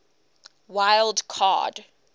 wild card